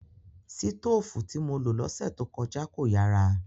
Sitóòfù tí mo lo lọ́sẹ̀ tó kọjá kò yàrà